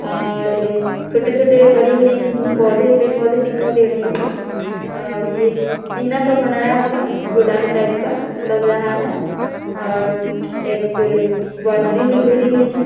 और ये छोटे-छोटे हरी-हरी अ पौधे पेड़-पौधे दिखाई दे रही है और ये टीना का बनाया हुआ गोडाउन टाइप का लग रहा है और एक पे बाउंड्री भी घेरी गई है।